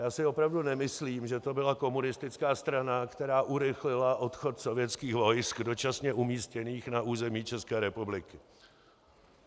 Já si opravdu nemyslím, že to byla komunistická strana, která urychlila odchod sovětských vojsk dočasně umístěných na území České republiky.